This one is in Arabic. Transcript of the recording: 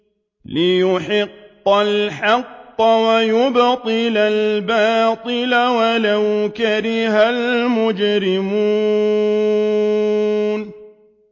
لِيُحِقَّ الْحَقَّ وَيُبْطِلَ الْبَاطِلَ وَلَوْ كَرِهَ الْمُجْرِمُونَ